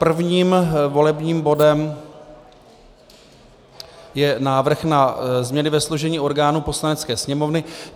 Prvním volebním bodem je návrh na změny ve složení orgánů Poslanecké sněmovny.